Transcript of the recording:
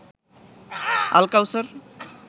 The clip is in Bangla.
আলকাউসার